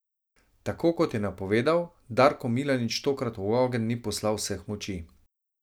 Tako kot je napovedal, Darko Milanič tokrat v ogenj ni poslal vseh moči.